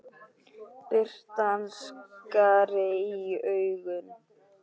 Birtan skar í augun.